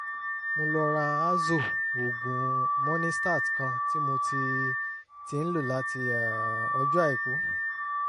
mo lọ ra azo oògùn monistat kan tí mo ti ti ń lò láti um ọjọ́ àìkú